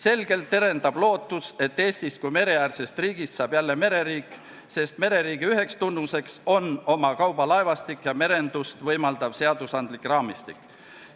Selgelt terendab lootus, et Eestist kui mereäärsest riigist saab jälle mereriik, sest mereriigi üheks tunnuseks on oma kaubalaevastiku ja merendust võimaldava seadusandliku raamistiku olemasolu.